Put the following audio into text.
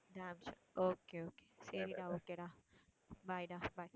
damn sure okay, okay சரி டா okay டா. bye டா bye